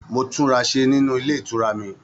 Mo tunrasé nínú ilé ìtura mí.